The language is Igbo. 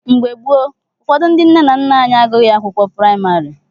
Mgbe gboo, ụfọdụ ndị nna nna anyị agụghị akwụkwọ praịmarị.